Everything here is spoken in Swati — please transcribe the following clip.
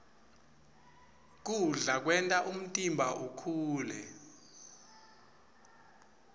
kudla kwenta umtimba ukhule